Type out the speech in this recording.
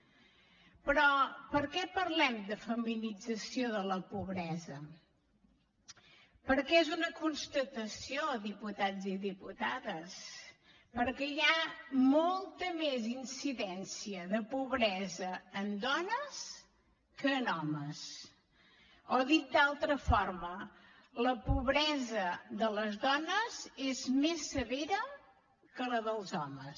però per què parlem de feminització de la pobresa perquè és una constatació diputats i diputades perquè hi ha molta més incidència de pobresa en dones que en homes o dit d’altra forma la pobresa de les dones és més severa que la dels homes